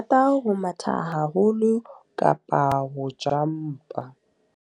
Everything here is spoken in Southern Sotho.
Ke rata ho matha haholo kapa ho jump-a.